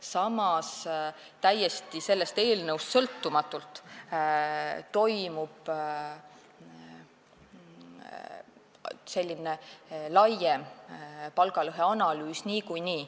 Samas, täiesti sellest eelnõust sõltumatult toimub niikuinii laiem palgalõheanalüüs.